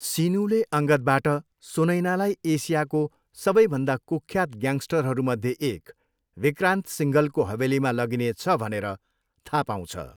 सिनुले अङ्गदबाट सुनैनालाई एसियाको सबैभन्दा कुख्यात ग्याङस्टरहरू मध्ये एक विक्रान्त सिङ्घलको हवेलीमा लगिनेछ भनेर थाहा पाउँछ।